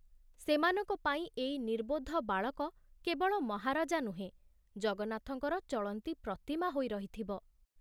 ସେମାନଙ୍କ ପାଇଁ ଏଇ ନିର୍ବୋଧ ବାଳକ କେବଳ ମହାରାଜା ନୁହେଁ, ଜଗନ୍ନାଥଙ୍କର ଚଳନ୍ତି ପ୍ରତିମା ହୋଇ ରହିଥିବ।